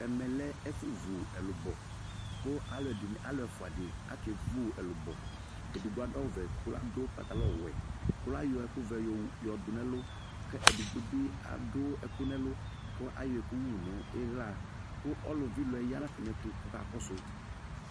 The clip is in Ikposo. Ɛmɛ lɛ ɛfo vu ɛlubɔ ko aluɛde ne, alu ɛfua de ake vu ɛlubɔEdigbo ado awuvɛ ko lado pantalɔnwɛ ko la yɔ ɛkuvɛ yowu, yɔdo nɛlu ke edigbo be ado ɛki nɛlu ko ayɔ ɛku wu no ihla ko ɔlu vi ilɔɛ ya no atane ɛto kɔka kɔso